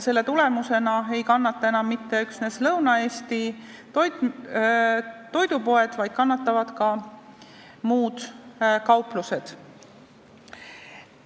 Selle tulemusena ei kannata enam mitte üksnes Lõuna-Eesti toidupoed, vaid ka muud kauplused.